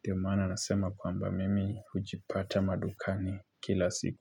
Ndio maana nasema kwamba mimi hujipata madukani kila siku.